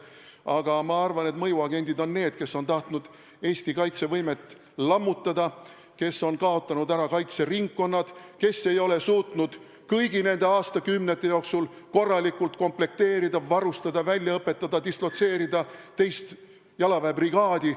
Aga ma arvan, et mõjuagendid on need, kes on tahtnud Eesti kaitsevõimet lammutada, kes on kaotanud ära kaitseringkonnad, kes ei ole suutnud kõigi nende aastakümnete jooksul korralikult komplekteerida, varustada, välja õpetada, dislotseerida teist jalaväebrigaadi.